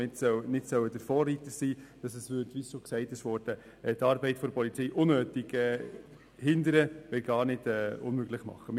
Wie schon erwähnt worden ist, würde dieses System die Arbeit der Polizei unnötig behindern, wenn nicht verunmöglichen.